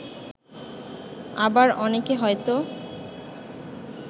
আবার অনেকে হয়তো